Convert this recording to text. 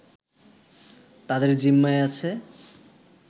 তাদের জিম্মায় আছে